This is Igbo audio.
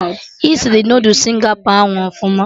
Esiri Noodul Singapọ ahụ ọfụma